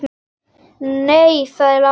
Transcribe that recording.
Nei, sagði Lárus.